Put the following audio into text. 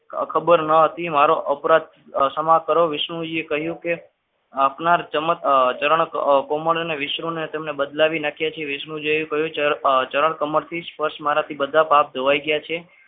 ખબર નથી મારો અપરાધ ક્ષમા કરો વિષ્ણુજીએ કહ્યું કે આપનાર ચમત્કાર ચરણ કોમળ અને વિષ્ણુને તેણે બદલાવી નાખ્યા છે તે જેવું ચરણ કમરથી જ સ્પર્શ મારાથી બધા પાપ ધોવાઈ ગયા છે.